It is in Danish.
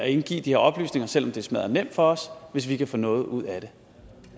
indgive de her oplysninger selv om det er smaddernemt for os hvis vi kan få noget ud af det